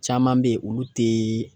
Caman bɛ yen olu tɛ